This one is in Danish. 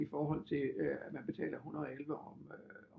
I forhold til at man betaler 110 om øh